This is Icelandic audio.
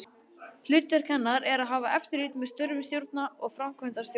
Hlutverk hennar er að hafa eftirlit með störfum stjórnar og framkvæmdastjóra.